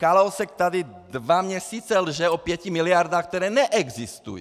Kalousek tady dva měsíce lže o pěti miliardách, které neexistují.